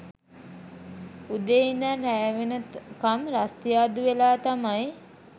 උදේ ඉඳන් රෑ වෙනතම් රස්තියාදු වෙලා තමයි